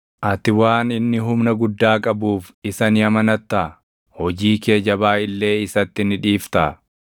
Ati waan inni humna guddaa qabuuf isa ni amanattaa? Hojii kee jabaa illee isatti ni dhiiftaa?